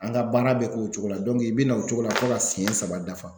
An ka baara bɛ k'o cogo la i be na o cogo la fo ka siyɛn saba dafa.